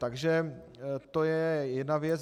Takže to je jedna věc.